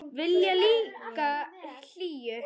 Vilja líka hlýju.